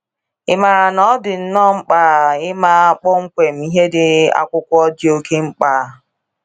Ị maara na ọ dị nnọọ mkpa ịma kpọmkwem ihe di akwụkwọ di oke mkpa